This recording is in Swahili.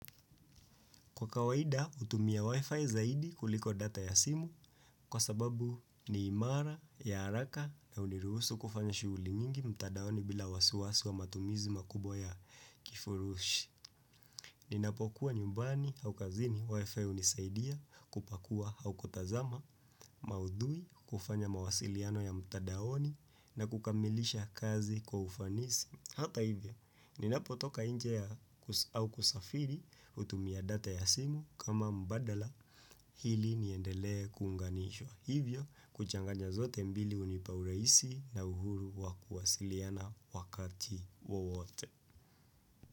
Kwa kawaida, utumia Wi-Fi zaidi kuliko data ya simu kwa sababu ni imara ya araka na uniruhusu kufanya shughuli nyingi mtadaoni bila wasiwasi wa matumizi makubwa ya kifurushi. Ninapokuwa nyumbani au kazini Wi-Fi unisaidia kupakua au kutazama maudhui kufanya mawasiliano ya mtadaoni na kukamilisha kazi kwa ufanisi. Hata hivyo, ninapotoka inje au kusafiri utumia data ya simu kama mbadala hili niendelee kuunganishwa. Hivyo, kuchanganja zote mbili unipauraisi na uhuru wa kuwasiliana wakati wowote.